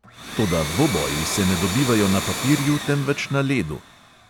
Toda dvoboji se ne dobivajo na papirju, temveč na ledu!